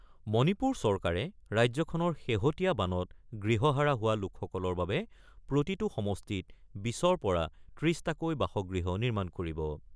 মণিপুৰ চৰকাৰে ৰাজ্যখনৰ শেহতীয়া বানত গৃহহাৰা হোৱা লোকসকলৰ বাবে প্ৰতিটো সমষ্টিত ২০ৰ পৰা ৩০ টাকৈ বাসগৃহ নিৰ্মাণ কৰিব।